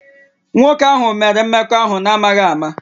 Nwoke ahụ mere mmekọahụ n'amaghị ama